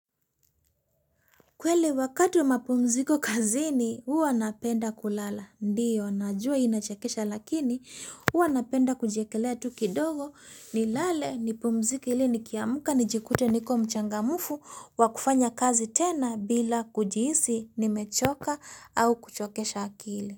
Kweli wakati wa mapumziko kazini huwa napenda kulala. Ndiyo, najua inachekesha lakini huwa napenda kujiekelea tu kidogo nilale nipumzike ili nikiamka nijikute niko mchangamfu wa kufanya kazi tena bila kujihisi nimechoka au kuchokesha akili.